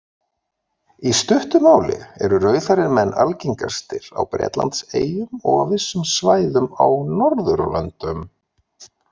Í stuttu máli eru rauðhærðir menn algengastir á Bretlandseyjum og á vissum svæðum á Norðurlöndum.